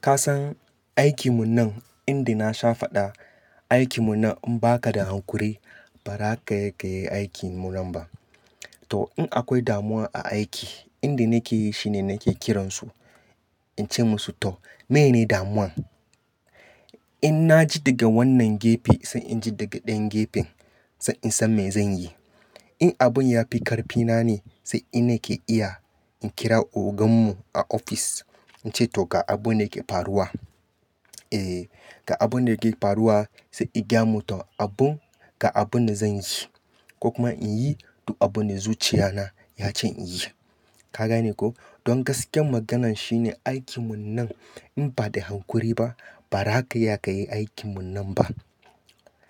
Kasan aikin mu nan, inda na sha fada, aikin mu nan in ba ka da hankuri ba, ba za ka iya kai aikin mu nan ba. To in akwai damuwa a aiki, inda nake yi shine nake kiransu, in ce musu "to mene ne damuwan?" In na ji daga wannan gefe sai in ji daga ɗayan gefen, sai in san me zan yi. In abun ya fi ƙarfi na ne sai nina ke iya in kira ogan mu a ofis, in ce "to ga abun da yake faruwa." E, "ga abun da yake faruwa," sai ya gaya mu to ga abun, ga abun da zan yi su, ko kuma in yi, duk abun da zuciya na ya ce in yi. Ka gane ko? Don gaskiyar maganan shine aikin mu nan in ba da hankuri ba, ba za ka iya ka yi aikin mu nan ba.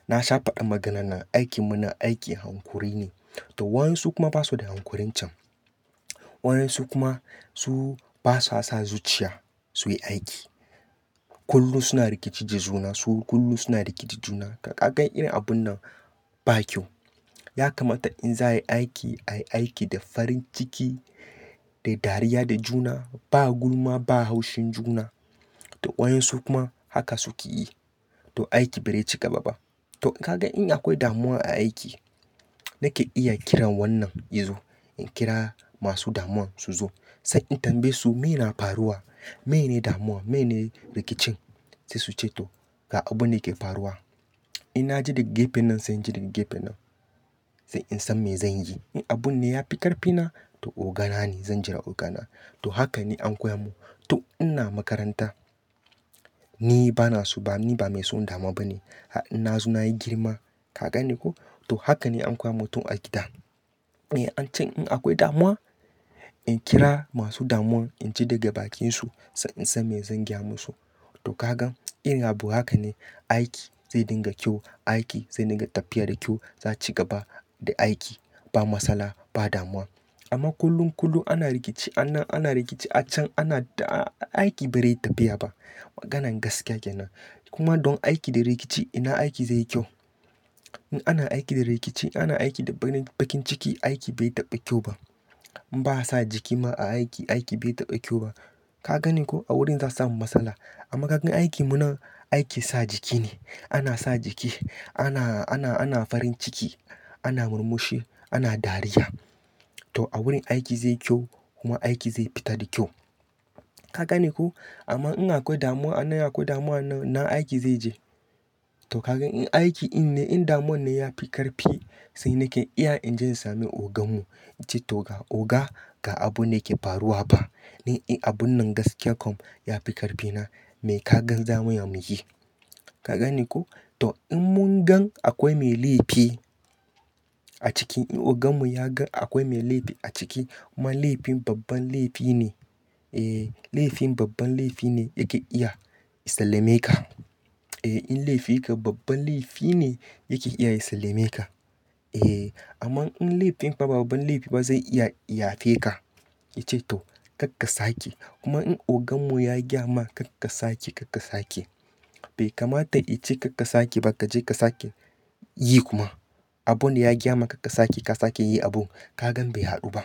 Na sha fada maganan nan, aikin mu nan aiki hankuri ne. To waɗansu kuma basu da hankurin cen. Waɗansu kuma su basua sa zuciya su yi aiki. Kullum suna rikice juna, kullum suna rikice juna. Ka ga irin abun nan ba kyau. Ya kamata in za ayi aiki, ayi aiki da farin ciki, da dariya da juna, ba gulma ba haushin juna. To waɗansu kuma haka suke yi, to aiki ba zai ci gaba ba. To ka gan in akwai damuwa a aiki, nake iya kiran wannan yazo, in kira masu damuwan su zo, sai in tambaye su "me na faruwa? Mene ne damuwa? Mene ne rikicin?" Sai su ce "to ga abun dake faruwa." In na ji daga gefen nan sai in ji daga gefen nan, sai in san me zan yi. In abun ne ya fi ƙarfi na, to ogana ne, zan jira ogana. To hakan ne anko ya mun. To ina makaranta, ni ba na su ba, ni ba mai son damua ba ne. In na zo nayi girma, ka gane ko? To haka ne anko ya mu tun a gida. E, an can in akwai damuwa, in kira masu damuwan, in ji daga bakinsu sai in san me zan gaya musu. To ka gan irin abu haka ne aiki zai dinga kyau, aiki zai dinga tafiya da kyau, za ci gaba da aiki ba matsala, ba damuwa. Amma kullum kullum ana rikici, an nan ana rikici, har can ana, aiki ba rai tafiya ba. Maganan gaskiya kenan. Kuma don aiki da rikice, ina aiki zai yi kyau? In ana aiki da rikice, ana aiki da bakin ciki, aiki bai taɓa kyau ba. In ba sa jiki ma a aiki, aiki bai taɓa kyau ba. Ka gane ko? A wurin za su samu matsala. Amma ka gan aikin mu nan, aikin sa jiki ne. Ana sa jiki, ana, ana, ana farin ciki, ana murmushi, ana dariya. To a wurin aiki zai yi kyau kuma aiki zai fita da kyau. Ka gane ko? Amma in akwai damuwa an nan, akwai damuwa an nan, ina aiki zai je? To ka gan in aiki din ne, in damuwan ne ya fi ƙarfi, sai nake iya in je in sami ogan mu, in ce "to oga ga abun da yake faruwa ba. Ni in abun nan gaskiya kam ya fi ƙarfi na, me ka gan zamu iya mu yi?" Ka gane ko? To in mun gan akwai mai laifi a ciki, in ogan mu ya gan akwai mai laifi a ciki, kuma laifin babban laifi ne, eh, laifin babban laifi ne yake iya ya salameka. Eh in laifin ka babban laifi ne yake iya ya salameka. Eh amma in laifin ba babban laifi ba zai iya ya yafe ka, ya ce "to kar ka sake." Kuma in ogan mu ya gaya ma kar ka sake, kar ka sake. Bai kamata in ce kar ka sake ba, ka je ka sake yi kuma. Abun da ya gaya maka kar ka sake, ka sake yi abun, ka gan bai haɗu ba.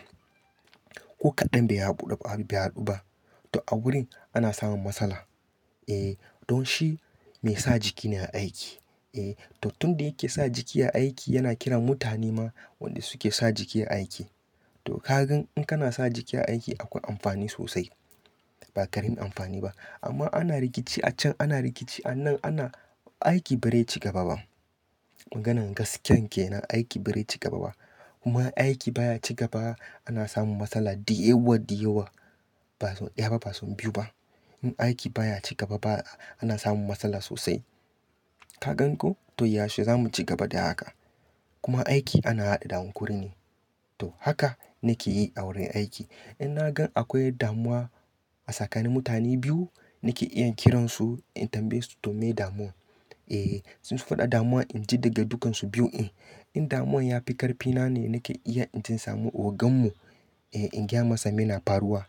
Ko kaɗan bai haɗu ba. To a wurin ana samun matsala. Eh don shi mai sa jiki ne aiki. E to tun da yake sa jiki a aiki, yana kiran mutane ma waɗanda suke sa jiki a aiki. To ka gan in kana sa jiki a aiki akwai amfani sosai. Ba ƙaramin amfani ba. Amma ana rikici a can, ana rikici a nan, ana, aiki ba rai cigaba ba. Maganan gaskiya kenan, aiki ba rai cigaba ba. Kuma aiki baya ci gaba, ana samun matsala ɗayawa ɗayawa. Ba sau ɗaya ba, ba sau biyu ba. In aiki baya ci gaba ba, ana samun matsala sosai. Ka gan ko? To yaushe za mu ci gaba da haka. Kuma aiki ana haɗe da hankuri ne. To haka nake yi a wurin aiki. In na gan akwai damuwa a tsakanin mutane biyu, nake iya kiransu in tambaye su to mene damuwan? E su faɗa damuwa, in ji daga dukansu biyun. In damuwan ya fi ƙarfi na ne, nake iya in je in sami ogan mu, eh in gaya masa mene na faruwa.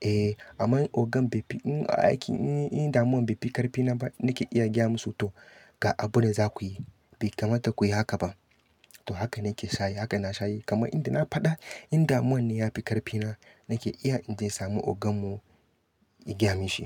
E amma in ogan bai fi, in aiki, in damuwan bai fi ƙarfi na ba nake iya gaya musu "to ga abun da za ku yi." Bai kamata ku yi haka ba. To haka nake shayi, haka na shayi. Kuma inda na faɗa in damuwan ne ya fi ƙarfi na, nake iya in je in sami ogan mu, in gaya mishi.